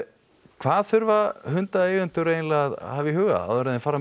hvað þurfa hundaeigendur að hafa í huga áður en þeir fara